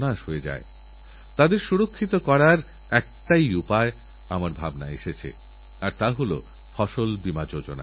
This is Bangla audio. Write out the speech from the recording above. গর্ভাবস্থায় বাপরে রক্তাল্পতা প্রসবের সময় সংক্রমণ উচ্চ রক্তচাপ কতরকমের অজানা সংকট কখন তাঁরজীবনকে নষ্ট করে দেবে কেউ জানে না